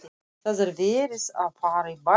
Það er verið að fara í bæinn!